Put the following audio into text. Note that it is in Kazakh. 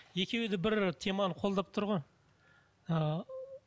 екеуі де бір теманы қолдап тұр ғой ы